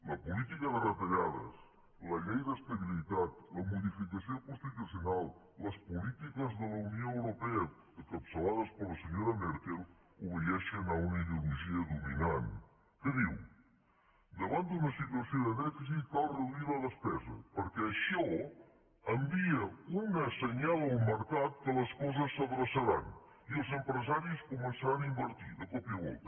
la política de retallades la llei d’estabilitat la modificació constitucional les polítiques de la unió europea encapçalades per la senyora merkel obeeixen a una ideologia dominant que diu davant d’una situació de dèficit cal reduir la despesa perquè això envia un senyal al mercat que les coses s’adreçaran i els empresaris començaran a invertir de cop i volta